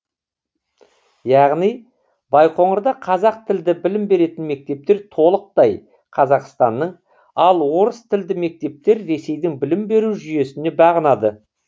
яғни байқоңырда қазақ тілді білім беретін мектептер толықтай қазақстанның ал орыс тілді мектептер ресейдің білім беру жүйесіне бағынады